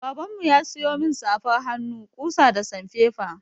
Baban mu ya siyo min safar hannu, ƙusa da sanfefa.